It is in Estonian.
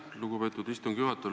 Aitäh, lugupeetud istungi juhataja!